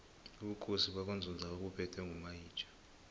ubukhosi bakwanzunza babuphetwe ngomayitjha